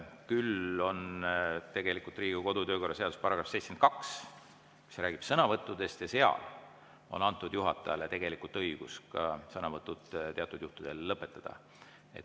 Küll aga on Riigikogu kodu‑ ja töökorra seaduses § 72, mis räägib sõnavõttudest, ja seal on antud juhatajale õigus ka sõnavõtud teatud juhtudel lõpetada.